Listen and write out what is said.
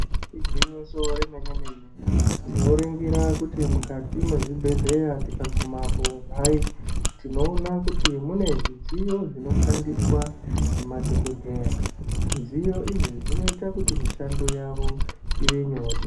Igwinyiso remene-mene tinoringira kuti mukati mwezvibhehleya tikagumapo hayi, tinoona kuti mune zvidziyo zvinoshandiswa ngemadhogodheya. Zvidziyo izvi zvinoita kuti mishando yavo ive nyore.